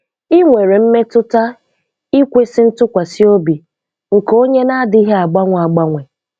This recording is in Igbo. Ị nwere mmetụta ikwesị ntụkwasị obi nke Onye na-adịghị agbanwe agbanwe.